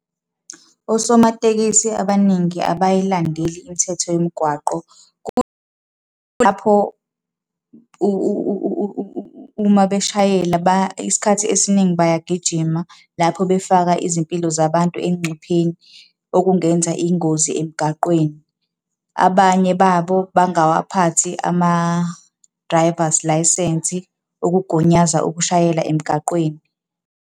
Osomatekisi abaningi abayilandeli imithetho yomgwaqo. Kulapho uma beshayela isikhathi esiningi bayagijima, lapho befaka izimpilo zabantu engcupheni, okungenza iy'ngozi emgaqweni. Abanye babo bangawaphathi ama-drivers licence, ukugunyaza ukushayela emgaqweni.